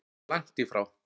Langt í frá.